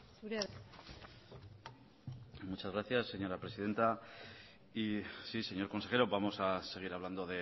zurea da hitza muchas gracias señora presidenta y sí señor consejero vamos a seguir hablando